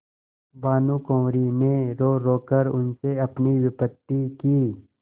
भानुकुँवरि ने रोरो कर उनसे अपनी विपत्ति की